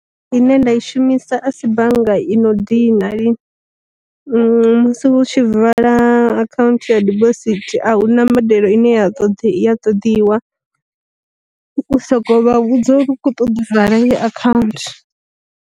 Ine nda i shumisa asi bannga i no dina lini, musi u tshi vala akhaunthu ya dibosithi a hu na mbadelo ine ya tod ya ṱoḓiwa, u soko vha vhudza uri u kho ṱoḓa u vala heyi akhaunthu.